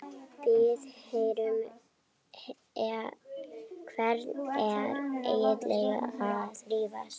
Við hvern ertu eiginlega að rífast?